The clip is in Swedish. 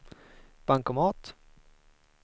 bankomat